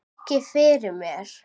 Víkið fyrir mér.